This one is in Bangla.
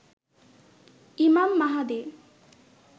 ইমাম মাহাদি